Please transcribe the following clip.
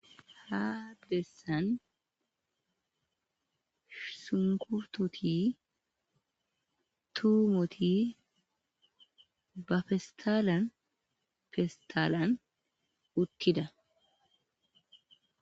ha bessan sunkurtoti tuumoti ba festalan festalan uttida